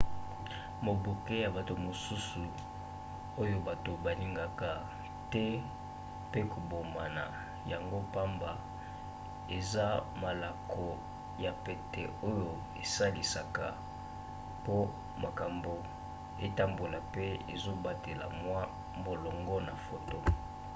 mobeko ya bato mosusu oyo bato balingaka te pe bamonaka yango pamba eza malako ya pete oyo esalisaka po makambo etambola pe ezobatela mwa molongo na foto